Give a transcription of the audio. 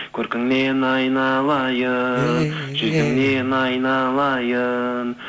көркіңнен айналайын жүзіңнен айналайын